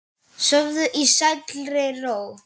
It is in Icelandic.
Sofðu í sælli ró.